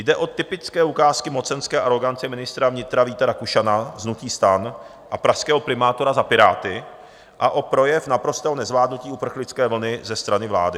Jde o typické ukázky mocenské arogance ministra vnitra Víta Rakušana z hnutí STAN a pražského primátora za Piráty a o projev naprostého nezvládnutí uprchlické vlny ze strany vlády.